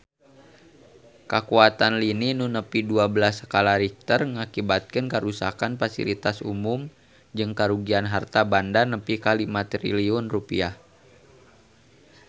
Kakuatan lini nu nepi dua belas skala Richter ngakibatkeun karuksakan pasilitas umum jeung karugian harta banda nepi ka 5 triliun rupiah